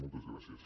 moltes gràcies